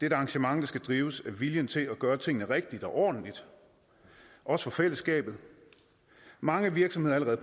et arrangement der skal drives af viljen til at gøre tingene rigtigt og ordentligt også for fællesskabet mange virksomheder er